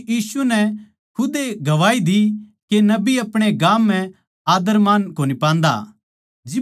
क्यूँके यीशु नै खुदे गवाही दी के नबी अपणे गाम म्ह आद्दर मान कोनी पान्दा